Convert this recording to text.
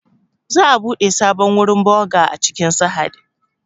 Za'a buɗe sabon wurin boğa a cikin Sahad